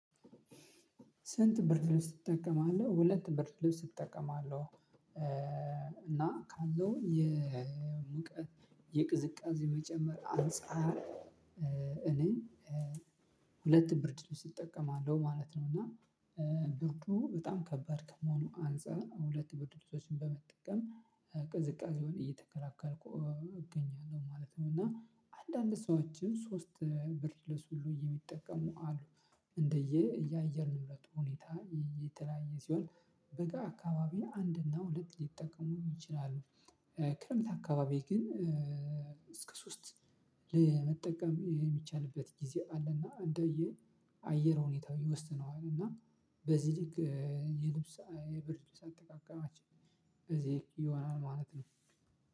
ስንት ብርድ ልብስ ትጠቀማለህ? ሁለት ብርድ ልብስ እጠቀማለሁ። እና ካለው የሙቀት የቅዝቃዜ መጨመር አንፃር እኔ ሁለት ብርድልብስ እጠቀማለሁ ማለት ነው። እና ብርዱ በጣም ከባድ ከመሆኑ አንፃር ሁለት ብርድልብሶችን በመጠቀም ቅዝቃዜውን እየተከላከልኩ እገኛለሁ ማለት ነው። እና አንዳንድ ሰዎችም ሶስት ብርድልብስ ሁሉ የሚጠቀሙ አሉ። እንደየ ያየር ንብረቱ ሁኔታ የተለያየ ሲሆን በጋ አካባቢ አንድ እና ሁለት ሊጠቀሙ ይችላሉ። ክረምት አካባቢ ግን እስከ ሶስት ለመጠቀም የሚቻልበት ጊዜ አለና እንደየ አየር ሁኔታው ይወስነዋል። እና በዚህ ልክ የልብስ የብርድልብስ አጠቃቀማችን በዚህ ልክ ይሆናል ማለት ነው።